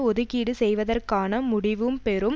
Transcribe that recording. ஒதுக்கீடு செய்வதற்கான முடிவும் பெரும்